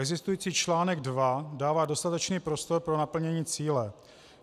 Existující článek 2 dává dostatečný prostor pro naplnění cíle.